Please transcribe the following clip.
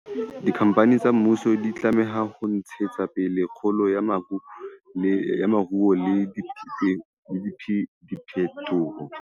Dikhampani tsa mmuso di tlameha ho ntshetsa pele kgolo ya moruo le diphetoho